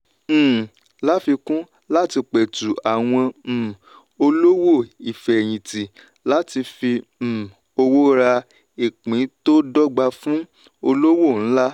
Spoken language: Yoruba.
um láfikún láti petu àwọn um olówò ifeyinti láti fi um owó rà ìpín tó dọ́gba fún olówò ńlá.